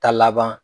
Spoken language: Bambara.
Ta laban